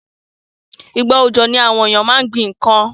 Ìgbà òjò ni àwon éyàn ma n gbín nkan